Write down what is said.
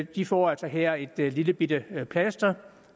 de får altså her et lillebitte plaster